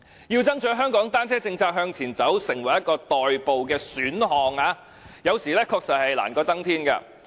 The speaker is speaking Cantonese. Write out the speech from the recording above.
要推動香港單車政策向前走，成為代步的選項，有時確實是難過登天。